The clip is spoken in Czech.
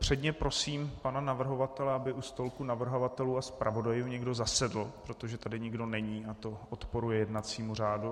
Předně prosím pana navrhovatele, aby u stolku navrhovatelů a zpravodajů někdo zasedl, protože tady nikdo není a to odporuje jednacímu řádu.